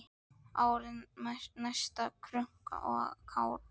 Árið næsta, krunk og krá!